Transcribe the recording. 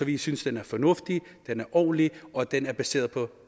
i synes den er fornuftig den er ordentlig og den er baseret på